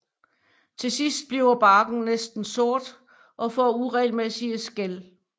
Til sidst bliver barken næsten sort og får uregelmæssige skæl